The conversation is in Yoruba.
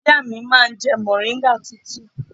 Ìyá mi máa ń jẹ mọ̀ríngà tútù.